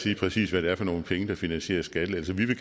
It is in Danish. finansiere skattelettelserne det